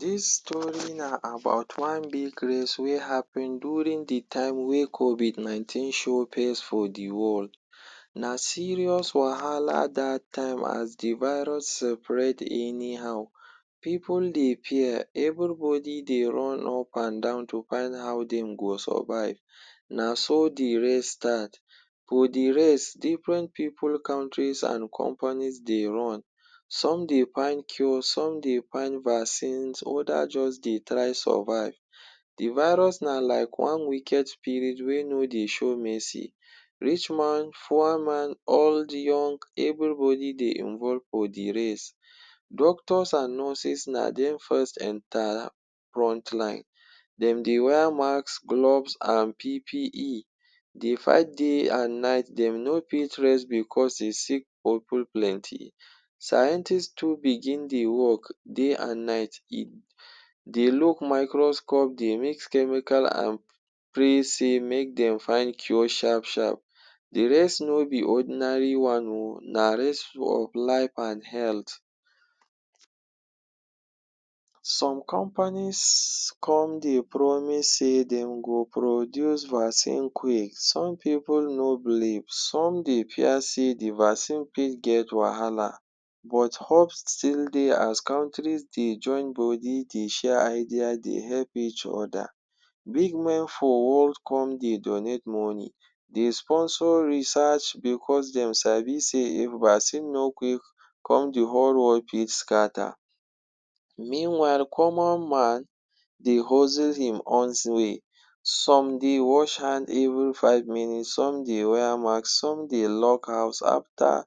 Dis story na about wan big race wey happen during de time wey COVID 19 show face for de world. Na serious wahala dat time as de virus seperate anyhow. Pipu dey fear, everybody dey run up and down to find how dem go survive, na so de race start. For de race different pipu, countries and companies dey run. Some dey find cure, some dey find vaccines other just dey try survive. De virus na like one wicked spirit wey no dey show mercy; rich man, poor man all de young, everybody dey involve for de race. Doctors and nurses na dem first enter frontline. Dem dey wear maks, gloves and PPE dey fight day and night. Dey no fit rest because de sick pipu plenty. Scientist too begin dey work day and night, dey look microscope, dey mix chemical and pray sey make dem find cure sharp sharp. De race no be ordinary wan oo, na race of life and health. Some companies come dey promise sey dem go produce vaccine quick. Some pipu no believe, some dey fear sey de vaccine fit get wahala but hope still dey as countries dey join body dey share idea dey help each other. Big men for world come dey donate money, dey sponsor research because dem sabi sey if vaccines no quick come, de whole world fit scatter. Meanwhile common man dey hustle im way. Some dey wash hand every five minutes, some dey wear maks some dey lock house after.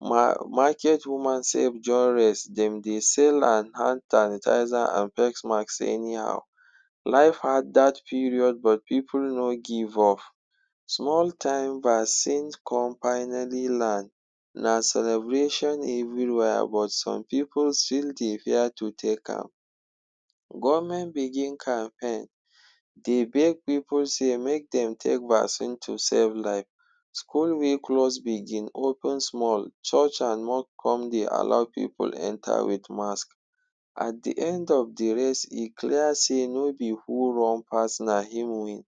Market woman sef join race. Dem dey sell hand sanitizer and face maks anyhow, life hard dat period but pipu no give up. Small time vaccine come finally land, na celebration everywhere but some pipu still dey fear to take am. Government begin campaign dey beg pipu sey make dem take vaccines to save life. School wey close begin open small, church and moque come dey allow pipu enter wit mask. At de end of de race e clear sey no be who run pass na im win,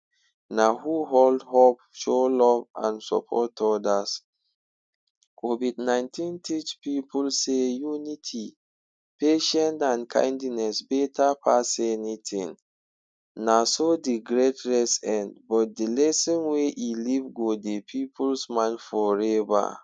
na who hold up, show love and support others. COVID-19 teach pipu sey unity, patien and kindness better pass anything. Na so de great race end but de lesson wey e leave go dey pipus mind forever.